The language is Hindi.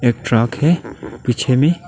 एक ट्रक है पीछे में।